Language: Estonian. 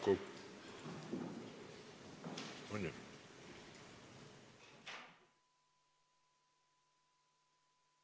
Istungi lõpp kell 16.41.